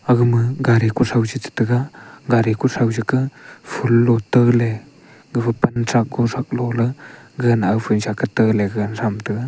agama gari kuthrou chetega gari kuthow sa ke phool lo taley gapha panchak kuthrak loley gagana nawphun kata ley ga thram taiga.